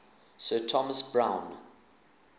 sir thomas browne